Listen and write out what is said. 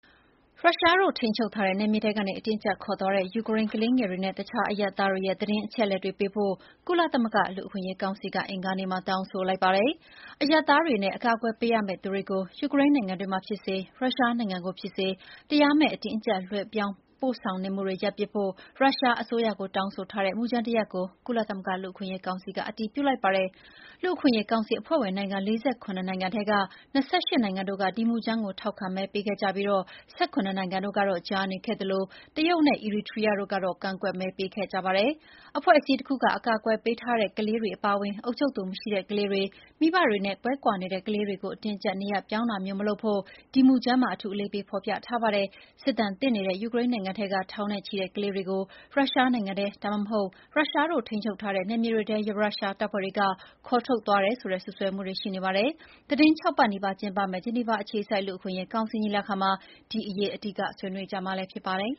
ရုရှားတို့ ထိန်းချုပ်ထားတဲ့နယ်မြေထဲကနေ အတင်းအကြပ်ခေါ်သွားခံရတဲ့ ယူကရိန်းကလေးငယ်တွေနဲ့ အခြားအရပ်သားတွေရဲ့ သတင်းအချက်အလက်တွေပေးဖို့ ကုလသမဂ္ဂလူ့အခွင့်အရေးကောင်စီက အင်္ဂါနေ့မှာ တောင်းဆိုလိုက်ပါတယ်။ အရပ်သားတွေနဲ့ အကာကွယ်ပေးရမယ့်သူတွေကို ယူကရိန်းနိုင်ငံတွင်းမှာ ဖြစ်စေ၊ ရုရှားနိုင်ငံကိုဖြစ်စေ တရားမဲ့ အတင်းအကြပ် ရွှေ့ပြောင်းပို့ဆောင်နေမှုတွေ ရပ်ပစ်ဖို့ ရုရှားအစိုးရကိုတောင်းဆိုထားတဲ့ မူကြမ်းတရပ်ကို ကုလသမဂ္ဂလူ့အခွင့်အရေးကောင်စီက အတည်ပြုလိုက်ပါတယ်။ လူ့အခွင့်အရေးကောင်စီ အဖွဲ့ဝင်နိုင်ငံ ၄၇ နိုင်ငံထဲက ၂၈ နိုင်ငံတို့က ဒီမူကြမ်းကို ထောက်ခံမဲပေးခဲ့ကြပြီး ၁၇ နိုင်ငံတို့က ကြားနေခဲ့သလို တရုတ်နဲ့ အီရီထရီးယားတို့က ကန့်ကွက်မဲပေးခဲ့ကြပါတယ်။ အဖွဲ့အစည်းတခုက အကာအကွယ်ပေးထားတဲ့ ကလေးတွေအပါအဝင် အုပ်ချုပ်သူမရှိတဲ့ကလေးတွေ၊ မိဘတွေနဲ့ကွဲနေတဲ့ကလေးတွေကို အတင်းအကြပ်နေရပ်ပြောင်းတာမျိုးမလုပ်ဖို့ ဒီမူကြမ်းမှာ အထူးအလေးပေးဖော်ပြထားပါတယ်။ စစ်ဒဏ်သင့်နေတဲ့ ယူကရိန်းနိုင်ငံထဲက ထောင်နဲ့ချီတဲ့ကလေးတွေကို ရုရှားနိုင်ငံထဲ ဒါမှမဟုတ် ရုရှားတို့ထိန်းချုပ်ထားတဲ့နယ်မြေတွေထဲ ရုရှားတပ်ဖွဲ့တွေက ခေါ်ထုတ်သွားတယ်ဆိုတဲ့ စွပ်စွဲမှုတွေရှိနေပါတယ်။ သီတင်း ၆ ပတ်နီးပါးကျင်းပမယ့် ဂျနီဗာအခြေစိုက် လူ့အခွင့်အရေးကောင်စီညီလာခံမှာ ဒီအရေး အဓိက ဆွေးနွေးကြမှာလည်းဖြစ်ပါတယ်။